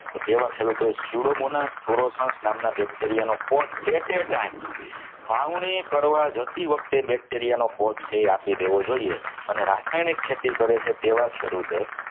ખેડૂતોએ સુદામોના નામ ના bacteria નો કોટ at a time છાવણી કરવા જતી વખતે bacteria નો કોટ આપી દેવો જોઈએ અને રાસાયણિક ખેતી કરે છે તેવા ખેડૂતે